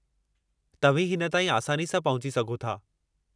तव्हीं हिन ताईं आसानी सां पहुची सघो था।